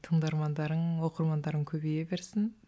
тыңдармандарың оқырмандарың көбейе берсін